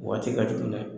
O waati ka jugu dɛ